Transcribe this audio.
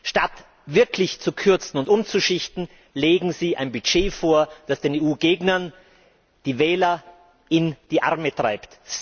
Statt wirklich zu kürzen und umzuschichten, legen Sie ein Budget vor, das den EU Gegnern die Wähler in die Arme treibt.